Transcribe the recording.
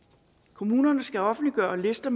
kommunerne skal offentliggøre lister